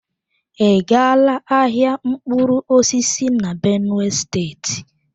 I gala ahịa mkpụrụ osisi na benue state?